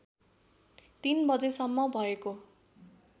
३ बजेसम्म भएको